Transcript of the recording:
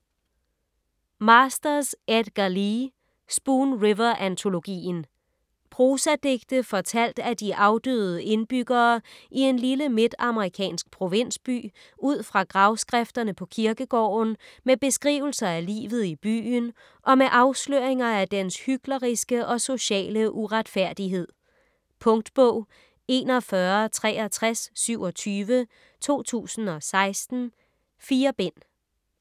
Masters, Edgar Lee: Spoon River antologien Prosadigte fortalt af de afdøde indbyggere i en lille midtamerikansk provinsby udfra gravskrifterne på kirkegården, med beskrivelser af livet i byen og med afsløringer af dens hykleri og sociale uretfærdighed. Punktbog 416327 2016. 4 bind.